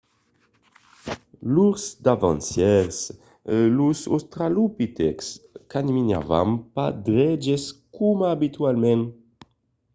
lors davancièrs los australopitècs caminavan pas dreches coma abitualament